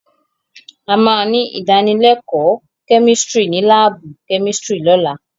A máa ní ìdánilẹ́kọ̀ọ́ chemistry ní láàbù chemistry lọ́la.